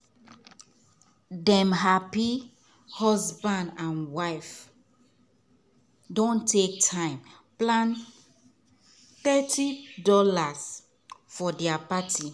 dem happy husband and wife don take time plan thirty dollars for dia party.